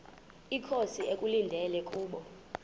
inkosi ekulindele kubo